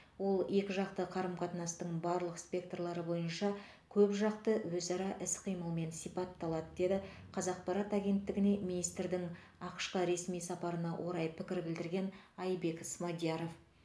ол екіжақты қарым қатынастың барлық спекторлары бойынша көпжақты өзара іс қимылмен сипатталады деді қазақпарат агенттігіне министрдің ақш қа ресми сапарына орай пікір білдірген айбек смадияров